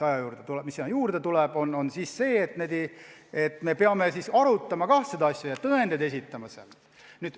Järgmine moment on see, et me peame tõendeid esitama ja kogu asja arutama.